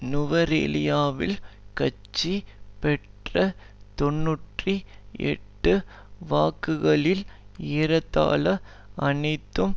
நுவரெலியாவில் கட்சி பெற்ற தொன்னூற்றி எட்டு வாக்குகள் ஏறத்தாழ அனைத்தும்